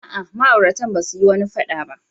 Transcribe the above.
A'a, ma'auratan ba su yi wani fada ba.